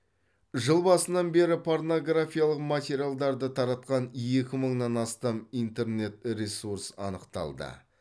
жыл басынан бері порнографиялық материалдарды таратқан екі мыңнан астам интернет ресурс анықталды